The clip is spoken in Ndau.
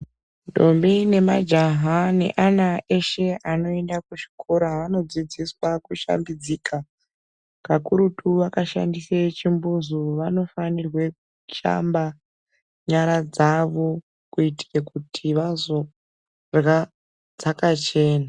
Ndombi nemajaha neana eshe anoenda kuchikora anodzidziswa kushambidzika. Kakurutu vakashandisa chimbuzi vanofanirwa kushamba nyara dzavo kuitira kuti vazodyra dzakachena.